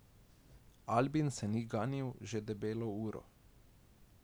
Albin se ni ganil že debelo uro.